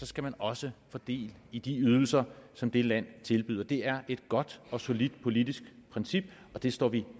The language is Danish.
skal man også få del i de ydelser som det land tilbyder det er et godt og solidt politisk princip og det står vi